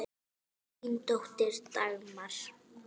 Þín dóttir, Dagmar.